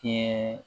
Kɛ